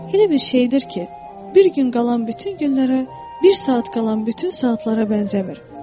Elə bir şeydir ki, bir gün qalan bütün günlərə, bir saat qalan bütün saatlara bənzəmir.